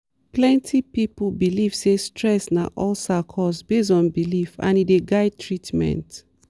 some communities dey believe say alcohol dey warm body and e dey affect how dem gree for treatment.